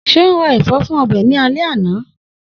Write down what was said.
Seun ra ẹfọ fun ọbẹ ni ale ana.